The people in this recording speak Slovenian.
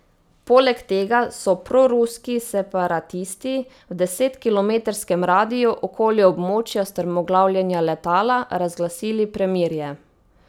Poleg tega so proruski separatisti v desetkilometrskem radiju okoli območja strmoglavljenja letala razglasili premirje.